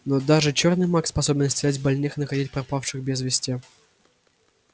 но даже чёрный маг способен исцелять больных и находить пропавших без вести